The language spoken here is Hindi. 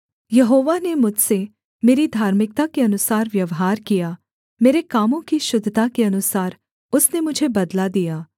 यहोवा ने मुझसे मेरी धार्मिकता के अनुसार व्यवहार किया मेरे कामों की शुद्धता के अनुसार उसने मुझे बदला दिया